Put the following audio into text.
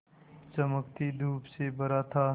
चमकती धूप से भरा था